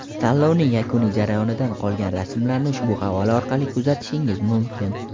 Tanlovning yakuniy jarayonidan qolgan rasmlarni ushbu havola orqali kuzatishingiz mumkin.